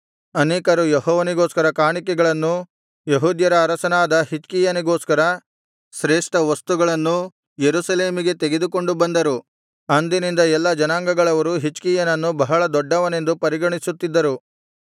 ಅನೇಕರು ಯೆಹೋವನಿಗೋಸ್ಕರ ಕಾಣಿಕೆಗಳನ್ನೂ ಯೆಹೂದ್ಯರ ಅರಸನಾದ ಹಿಜ್ಕೀಯನಿಗೋಸ್ಕರ ಶ್ರೇಷ್ಠ ವಸ್ತುಗಳನ್ನೂ ಯೆರೂಸಲೇಮಿಗೆ ತೆಗೆದುಕೊಂಡು ಬಂದರು ಅಂದಿನಿಂದ ಎಲ್ಲಾ ಜನಾಂಗಗಳವರು ಹಿಜ್ಕೀಯನನ್ನು ಬಹಳ ದೊಡ್ಡವನೆಂದು ಪರಿಗಣಿಸುತ್ತಿದ್ದರು